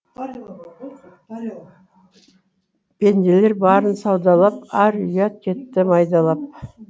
пенделер барын саудалап ар ұят кетті майдалап